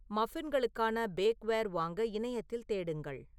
மஃபின்களுக்கான bakeware வாங்க இணையத்தில் தேடுங்கள்